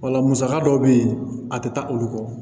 Wala musaka dɔw bɛ yen a tɛ taa olu kɔ